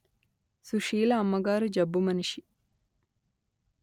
సుశీల అమ్మగారు జబ్బు మనిషి